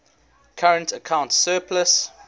current account surplus